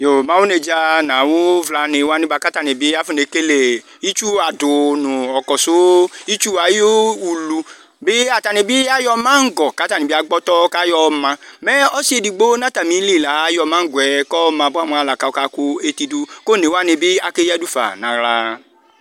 Mɛ awʋ nedza nʋ awʋvlani wani bakʋ atani akɔ nekele itsʋ adu nʋ ɔkɔsʋ itsu ayʋ ulu atani bi ayɔ mangɔ kʋ atani bi agbɔ ɔtɔ kʋ ayɔ yɔma mɛ ɔsietsʋ edigbo nʋ atamili la ayɔ mangɔɛ kʋ ɔma bua mʋa kʋ ɔka kʋ eti dʋ kʋ one wani bi keyadʋfa nʋ aɣla